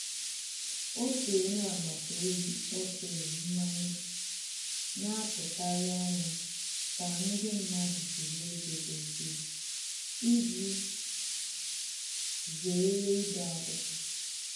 Otu onye agbata obi kpọturu mmanye, na-atụkarị anya ka ndị mmadụ jiri ego dozie iji zere ide akwụkwọ